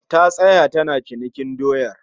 Ta tsaya tana cinikin doyar